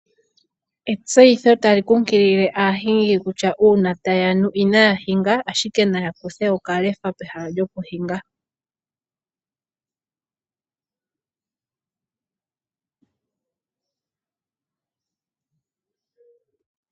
Etseyitho tali nkunkilile aahingi kutya uuna tayii iyadha taya nu inaya hinga ashike naya kuthe okalefa pehala lyokuhinga